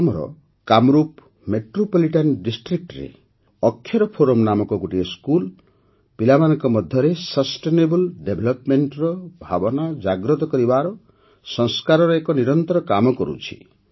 ଆସାମର କାମରୂପ୍ ମେଟ୍ରୋପଲିଟାନ୍ Districtରେ ଅକ୍ଷର ଫୋରମ ନାମକ ଗୋଟିଏ ସ୍କୁଲ ପିଲାମାନଙ୍କ ମଧ୍ୟରେ ସଷ୍ଟେନେବଲ୍ Developmentର ଭାବନା ଜାଗ୍ରତ କରିବାର ସଂସ୍କାରର ଏକ ନିରନ୍ତର କାମ କରୁଛି